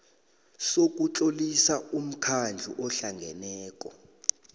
sokutlolisa umkhandlu ohlangeneko